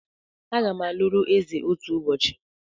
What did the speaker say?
Agam aluru eze otu ubochi